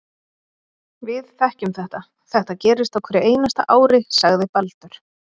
Við þekkjum þetta, þetta gerist á hverju einasta ári, sagði Baldur.